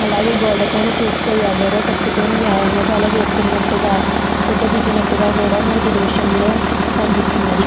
అలాగే గోడ పైన చూస్తే ఎవ్వరో పట్టుకోని వ్యాయామశాల చేస్తున్నట్టుగ హా ఫోటో దిగినట్టుగ కూడా మనకి ఈ దృశ్యం లో హ్మ్మ్ కనిస్తున్నది.